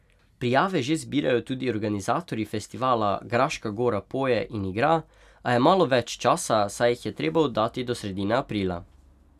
Prijave že zbirajo tudi organizatorji festivala Graška Gora poje in igra, a je malo več časa, saj jih je treba oddati do sredine aprila.